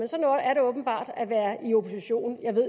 er det åbenbart at være i opposition jeg ved